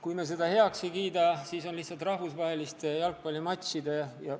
Kui me seda heaks ei kiida, siis on lihtsalt rahvusvaheliste jalgpallimatšide korraldamine raskendatud.